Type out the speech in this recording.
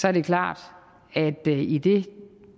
er det klart at i det